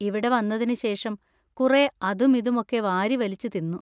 ഇവിടെ വന്നതിന് ശേഷം കുറെ അതും ഇതും ഒക്കെ വാരിവലിച്ച് തിന്ന്.